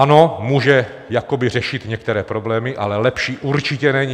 Ano, může jakoby řešit některé problémy, ale lepší určitě není.